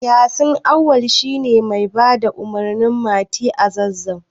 Yasin Auwal shi ne mai bada umarnin Mati a Zazzau.